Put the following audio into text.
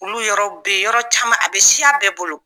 Olu yɔrɔw bɛ yen, yɔrɔ caman, a bɛ siya bɛɛ bolo!